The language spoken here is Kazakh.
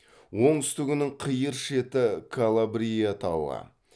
оңтүстігінің қиыр шеті калабрия тауы